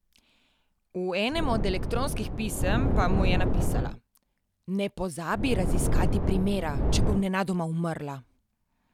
V enem od elektronskih pisem pa mu je napisala: "Ne pozabi raziskati primera, če bom nenadoma umrla!